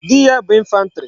Di ya bu infantry